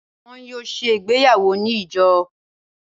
wọn yóò se ìgbéyàwó ni ijo.